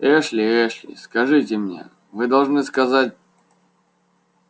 эшли эшли скажите мне вы должны сказать